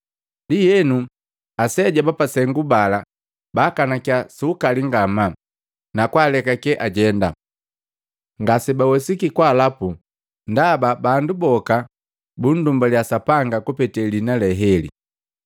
Ndienu, aseja bapasengu bala baakanakia su ukali ngamaa, na kwalekake ajenda. Ngasebawesiki kwaalapu ndaba bandu boka bundumbalya Sapanga kupetee lijambu lee heli.